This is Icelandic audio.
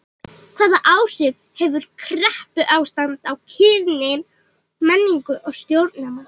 Hvaða áhrif hefur kreppuástand á kynin, menningu og stjórnmál?